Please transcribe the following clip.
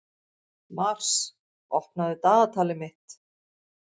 Mars, opnaðu dagatalið mitt.